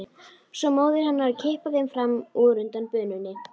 Svo móðir hennar að kippa þeim fram úr undan bununni.